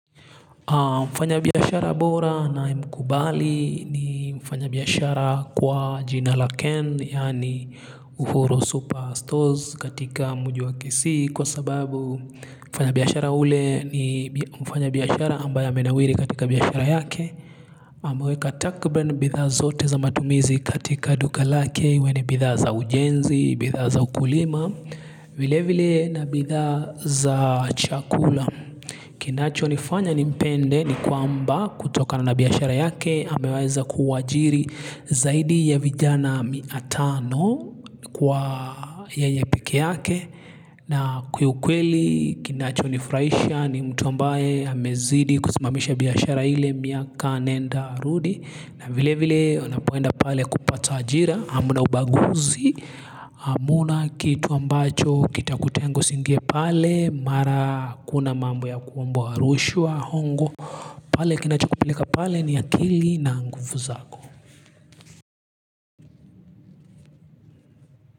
Mfanya biashara bora na mkubali ni mfanya biashara kwa jinala ken yaani uforo super stores katika mjii wa kisii kwa sababu mfanya biashara ule ni mfanya biashara ambaya menawiri katika biashara yake. Amweka takriban bidhaa zote za matumizi katika duka lake ue ni bidha za ujenzi, bidha za ukulima, vile vile na bidha za chakula. Kinacho nifanya nipende ni kwamba kutoka na biashara yake hameweza kuwajiri zaidi ya vijana miatano kwa yeye pekee yake. Na kiukweli kinacho nifuraihsha ni mtu ambaye amezidi kuzimamisha biashara ile miaka nenda rudi na vile vile unapoenda pale kupata ajira hamuna ubaguzi hamuna kitu ambacho kita kutengo usingie pale mara kuna mambo ya kuwambu rushwaa hongo pale kinachokupeleka pale ni akili na nguvu zako.